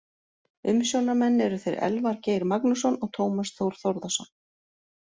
Umsjónarmenn eru þeir Elvar Geir Magnússon og Tómas Þór Þórðarson.